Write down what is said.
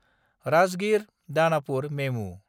राजगिर–दानापुर मेमु